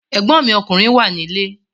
Ẹ̀gbọ́n mi ọkùnrin wà nílé